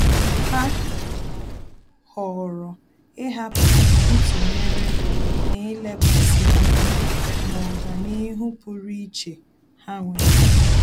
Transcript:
Há họ̀ọ̀rọ̀ ị́hàpụ́ ntụnyere n’ílékwàsí ányá na ọ́gànihu pụ́rụ́ iche ha nwere.